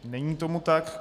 Není tomu tak.